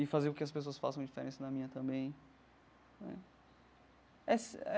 E fazer com que as pessoas façam diferença na minha também né essa eh.